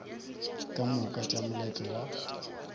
ka moka tša moletlo wa